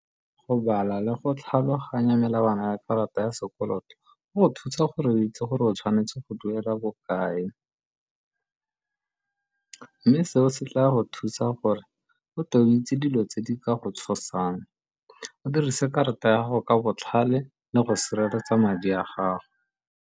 Go bala le go tlhaloganya melawana ya karata ya sekoloto go go thusa gore o itse gore o tshwanetse go duela bokae, mme seo se tla go thusa gore o tlo o itse dilo tse di ka go tshosang, o dirise karata ya gago ka botlhale le go sireletsa madi a gago.